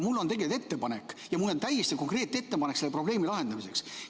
Mul on tegelikult ettepanek ja mul on täiesti konkreetne ettepanek selle probleemi lahendamiseks.